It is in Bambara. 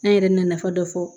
An yɛrɛ na nafa dɔ fɔ